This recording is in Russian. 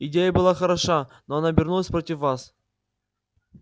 идея была хороша но она обернулась против вас